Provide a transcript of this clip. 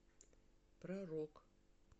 про рок